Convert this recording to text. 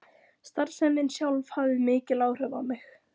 Starfsemin sjálf hafði mikil áhrif á mig.